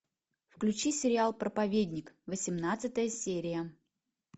включи сериал проповедник восемнадцатая серия